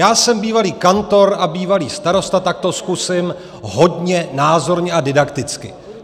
Já jsem bývalý kantor a bývalý starosta, tak to zkusím hodně názorně a didakticky.